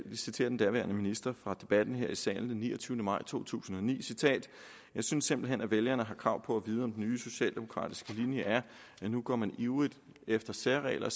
citere den daværende minister fra debatten her i salen den niogtyvende maj 2009 jeg synes simpelt hen at vælgerne har krav på at vide om den nye socialdemokratiske eu linje er at nu går man ivrigt efter særregler